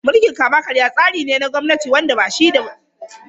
Mulkin kama-karya tsari ne na gwamnati wanda ba shi da tsarin doka.